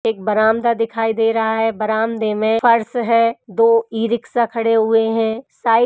एक बरामदा दिखाई दे रहा है बरामदे में फर्श है दो ई-रिक्शा खड़े हुए हैं साइड --